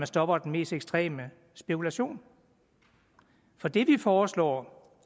stopper den mest ekstreme spekulation for det vi foreslår